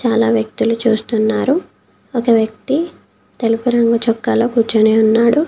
చాలా వ్యక్తులు చూస్తున్నారు ఒక వ్యక్తి తెలుపు రంగు చొక్కా లో కూర్చొని ఉన్నాడు.